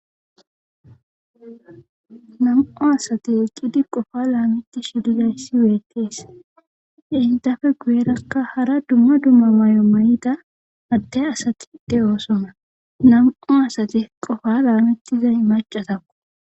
Nam'o asati eqqidi qofa laamiti shirizayssi weetees e intafe guyerakka hara dumma dumma mayo may7ida adte asati de oosona nam7o asati qofa laamettizay macatakku